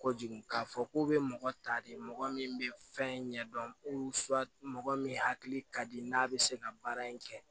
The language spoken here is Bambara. Kojugu k'a fɔ k'u bɛ mɔgɔ ta de mɔgɔ min bɛ fɛn ɲɛdɔn mɔgɔ min hakili ka di n'a bɛ se ka baara in kɛ